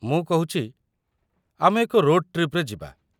ମୁଁ କହୁଚି, ଆମେ ଏକ ରୋଡ଼ ଟ୍ରିପ୍‌ରେ ଯିବା।